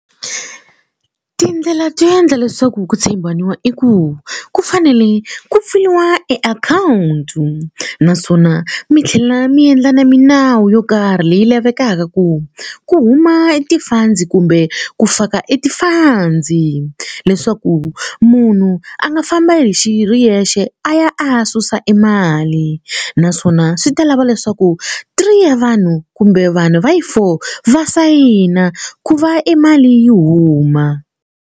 Tindlela to endla leswaku ku tshembanawa i ku ku fanele ku pfuriwa e akhawunti naswona mi tlhela mi endla na milawu yo karhi leyi lavekaka ku ku huma e ti-funds kumbe ku faka e ti-funds leswaku munhu a nga famba hi xi ri yexe a ya a ya susa e mali naswona swi ta lava leswaku three ya vanhu kumbe vanhu va yi four va sayina ku va e mali yi huma.